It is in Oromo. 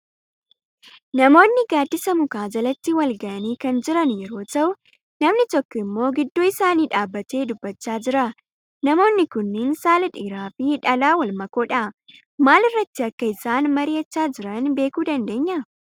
Namoonni gaaddisa mukaa jalatti wal gahanii kan jiran yeroo ta'uu namni tokko immoo gidduu isaanii dhaabbatee dubbachaa jira. Namoonni kunniin saala dhiiraa fi dhalaa wal makoodha. Maal irratti akka isaan mari'achaa jiran beekuu dandeenyaa?